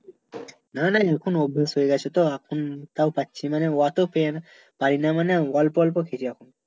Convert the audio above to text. না না এখন অভ্যাস হয়ে গেছে তো এখন তাও পাচ্ছি মানে অত পের পারি না মানে অল্প অল্প খাচ্ছি